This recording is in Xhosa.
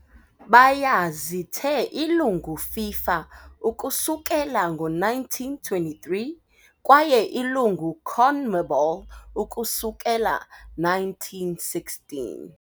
Baya zithe ilungu FIFA ukusukela ngo-1923 kwaye ilungu CONMEBOL ukusukela 1916.